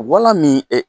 Wala min